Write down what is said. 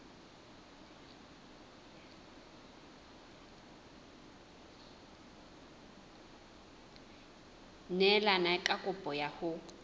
neelane ka kopo ya hao